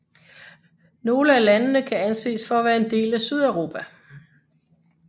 Nogle af landene kan anses for at være en del af Sydeuropa